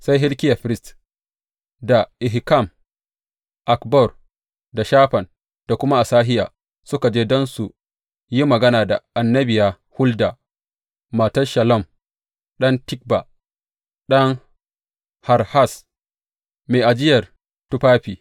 Sai Hilkiya firist, da Ahikam, Akbor, da Shafan, da kuma Asahiya suka je don su yi magana da annabiya Hulda, matan Shallum ɗan Tikba, ɗan Harhas, mai ajiyar tufafi.